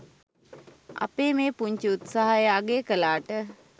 අපේ මේ පුංචි උත්සාහය අගය කලාට.